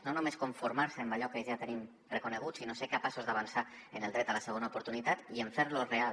no només conformar se amb allò que ja tenim reconegut sinó ser capaços d’avançar en el dret a la segona oportunitat i en fer lo real